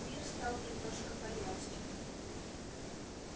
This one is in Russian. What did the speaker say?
мир стал немножко поярче